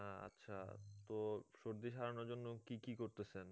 হ্যাঁ আচ্ছা তো সর্দি সারানোর জন্য কি কি করতেছেন